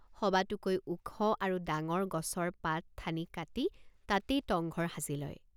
সবাতোকৈ ওখ আৰু ডাঙৰ গছৰ পাতঠানি কাটি তাতেই টংঘৰ সাজি লয়।